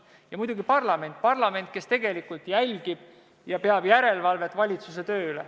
Ja siis on veel muidugi parlament, kes jälgib ja teeb järelevalvet valitsuse töö üle.